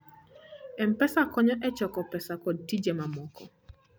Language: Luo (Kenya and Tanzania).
M-Pesa konyo e choko pesa kod tije mamoko.